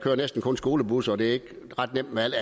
jo næsten kun skolebusser og det er ikke ret nemt med alt